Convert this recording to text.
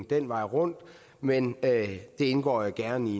den vej rundt men det indgår jeg gerne i